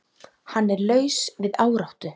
Hann er laus við áráttu.